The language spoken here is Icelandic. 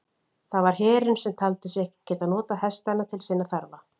Það var herinn, sem taldi sig ekki geta notað hestana til sinna þarfa.